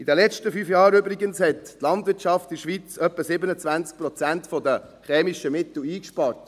In den letzten fünf Jahren hat die Landwirtschaft in der Schweiz übrigens etwa 27 Prozent der chemischen Mittel eingespart.